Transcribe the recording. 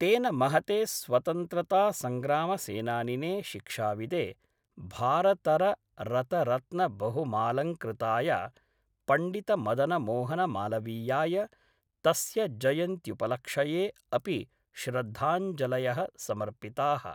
तेन महते स्वतन्त्रतासंग्रामसेनानिने शिक्षाविदे भारतर रतरत्नबहुमालंकृताय पण्डितमदनमोहनमालवीयाय तस्य जयन्त्युपलक्ष्ये अपि श्रद्धाञ्जलयः समर्पिताः।